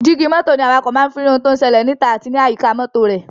Jígí mọ́tò ní awakọ̀ máa ń fi rí ohun tó ń ṣẹlẹ̀ níta àti ní àyíká mọ́tò rẹ̀.